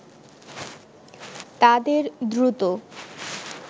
তাদের দ্রুত